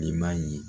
I m'a ye